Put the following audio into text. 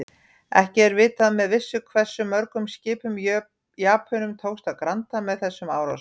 Ekki er vitað með vissu hversu mörgum skipum Japönum tókst að granda með þessum árásum.